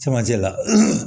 Cɛmancɛ la